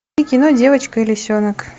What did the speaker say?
кино девочка и лисенок